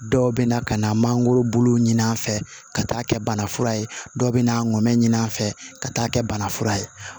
Dɔw bɛ na ka na mangoro bulu ɲini an fɛ ka taa kɛ banafura ye dɔw bɛ na nɛ ɲini an fɛ ka taa kɛ banafura ye